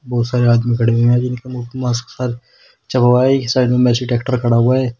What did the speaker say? बहुत सारे आदमी खड़े हुए हैं मास्क चौपाई के साइड में मैसी ट्रैक्टर खड़ा है।